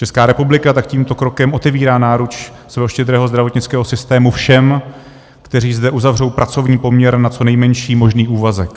Česká republika tak tímto krokem otevírá náruč svého štědrého zdravotnického systému všem, kteří zde uzavřou pracovní poměr na co nejmenší možný úvazek.